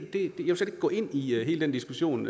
gå ind i hele den diskussion